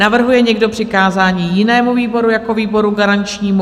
Navrhuje někdo přikázání jinému výboru jako výboru garančnímu?